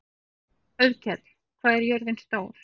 Auðkell, hvað er jörðin stór?